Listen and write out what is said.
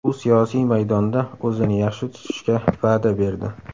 U siyosiy maydonda o‘zini yaxshi tutishga va’da berdi.